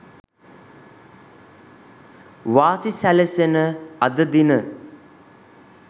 වාසි සැලසෙන අද දින